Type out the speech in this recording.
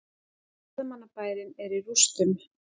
Ferðamannabærinn er í rústum